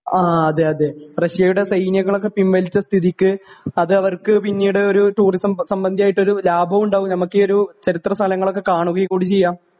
ആ അതേ അതേ റഷ്യയുടെ സൈന്യങ്ങളൊക്കെ പിൻവലിച്ച സ്ഥിതിക്ക് അതവർക്ക് പിന്നീട് ഒരു ടൂറിസം സംബന്ദിയായിട്ട് ഒരു ലാഭവും ഉണ്ടാവും നമുക്ക് ഈ ഒരു ചരിത്ര സ്ഥലങ്ങളൊക്കെ കാണുകയും കൂടെ ചെയ്യാം